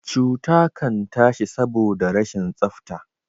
cuta Kan tashi saboda rashin tsafta